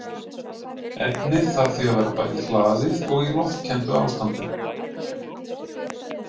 Efnið þarf því að vera bæði hlaðið og í loftkenndu ástandi.